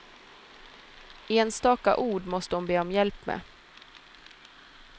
Enstaka ord måste hon be om hjälp med.